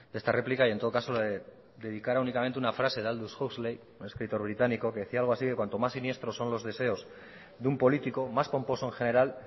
de esta réplica y en todo caso le dedicara únicamente una frase de aldous huxley un escritor británico que decía algo así que cuando más siniestros son los deseos de un político más pomposo en general